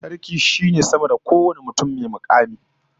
Sarki shine sama da kowane mutum ko mukami dabam